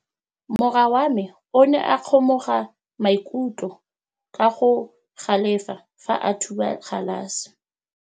Morwa wa me o ne a kgomoga maikutlo ka go galefa fa a thuba galase.